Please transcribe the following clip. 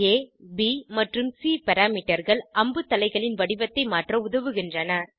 ஆ ப் மற்றும் சி parameterகள் அம்புத்தலைகளின் வடிவத்தை மாற்ற உதவுகின்றன